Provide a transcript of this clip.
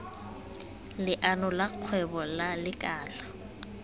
leano la kgwebo la lekala